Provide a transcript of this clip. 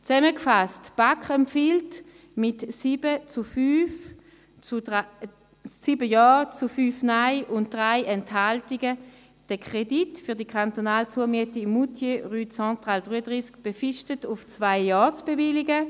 Zusammengefasst: Die BaK empfiehlt Ihnen mit 7 Ja- zu 5 Nein-Stimmen bei 3 Enthaltungen, den Kredit für die kantonale Zumiete Moutier, Rue Centrale 33 befristet auf zwei Jahre zu bewilligen.